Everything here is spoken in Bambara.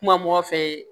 Kuma mɔgɔ fɛ